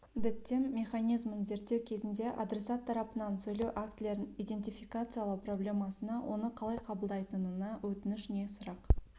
діттем механизмін зерттеу кезінде адресат тарапынан сөйлеу актілерін идентификациялау проблемасына оны қалай қабылдайтынына өтініш не сұрақ